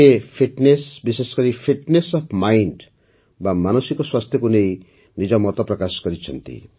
ସେ ଫିଟ୍ନେସ୍ ବିଶେଷକରି fitness of mind ବା ମାନସିକ ସ୍ୱାସ୍ଥ୍ୟକୁ ନେଇ ନିଜ ମତ ପ୍ରକାଶ କରିଛନ୍ତି